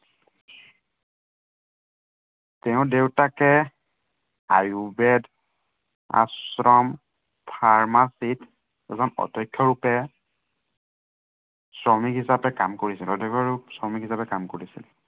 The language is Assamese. তেওঁৰ দেউতাকে আয়ুৰ্বেদ আশ্ৰম pharmacy ত এজন অধ্য়ক্ষ ৰূপে, শ্ৰমিক হিচাপে কাম কৰিছিল, অধ্য়ক্ষ আৰু শ্ৰমিক হিচাপে কাম কৰিছিল।